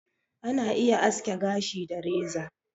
Ana iya aske gashi da reza